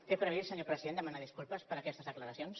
té previst senyor president demanar disculpes per aquestes declaracions